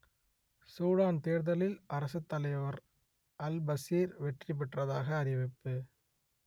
Sudan தேர்தலில் அரசுத்தலைவர் al Bashir வெற்றி பெற்றதாக அறிவிப்பு